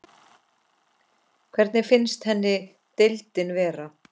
Hvernig finnst henni deildin vera?